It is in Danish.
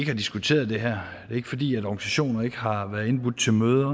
har diskuteret det her er ikke fordi organisationer ikke har været indbudt til møder